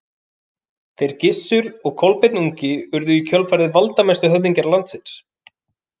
Þeir Gissur og Kolbeinn ungi urðu í kjölfarið valdamestu höfðingjar landsins.